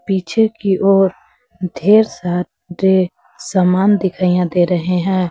पीछे की ओर ढेर सारे सामान दिखाइए दे रहे हैं।